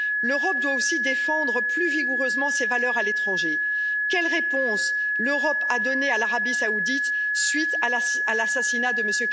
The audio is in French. L'Europe doit aussi défendre plus vigoureusement ses valeurs à l'étranger quelle réponse l'Europe a t elle donnée à l'Arabie Saoudite, suite à l'assassinat de M.